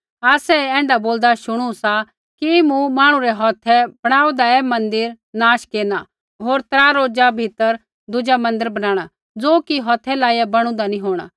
आसै ऐ ऐण्ढा बोलदा शुणू सा कि मैं मांहणु रै हौथै बैणूदा ऐ मन्दिर मूँ नाश केरना होर त्रा रोज़ा भीतरै मूँ दुज़ा मन्दिर बनाणा ज़ो कि हौथै लाइया बैणूदा नी होंणा